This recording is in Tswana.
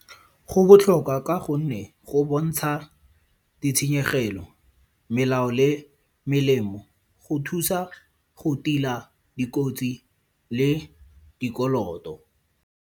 Go botlhokwa ka gonne go bontsha ditshenyegelo, melao le melemo go thusa go tila dikotsi le dikoloto.